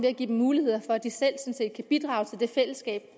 at give dem mulighed for at de selv kan bidrage til det fællesskab